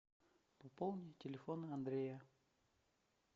пополни телефон андрея